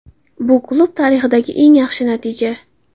Bu klub tarixidagi eng yaxshi natija.